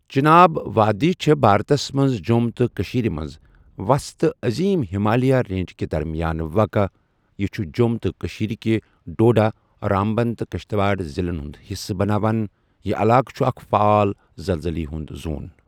چناب وادی چھُ بھارتس مَنٛز جۆم تہٕ کٔشیٖر مَنٛز وسط تہٕ عظیم ہِمالیَہ رینج کہِ درمیان واقع یہٕ چھُ جۆم تہٕ کٔشیٖر کہِ ڈوڈہ، رامبان تہٕ کَشٹٕوار ضِلن ہُنٛد حصہٕ بناوان یہٕ علاقہٕ چھُ اَکھ فعال زلزلے ہُنٛد زون۔